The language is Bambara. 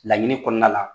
Laɲini kɔnɔna la